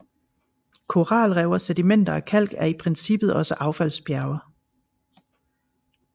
Koralrev og sedimenter af kalk er i princippet også affaldsbjerge